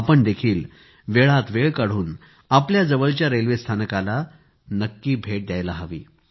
आपण देखील वेळात वेळ काढून आपल्या जवळच्या रेल्वे स्थानकाला नक्की भेट द्यायला हवी